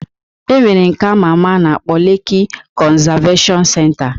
E nwere nke ama ama a na-akpọ Leki konzaveshon senta